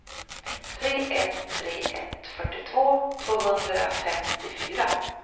tre ett tre ett fyrtiotvå tvåhundrafemtiofyra